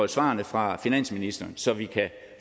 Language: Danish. svarene fra finansministeren så vi kan